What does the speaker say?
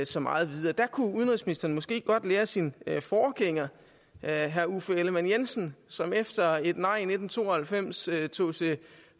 så meget videre der kunne udenrigsministeren måske godt lære af sin forgænger herre uffe ellemann jensen som efter et nej i nitten to og halvfems tog til